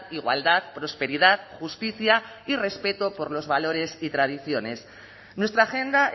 igualdad prosperidad justicia y respeto por los valores y tradiciones nuestra agenda